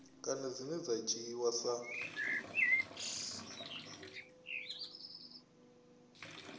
kana dzine dza dzhiiwa sa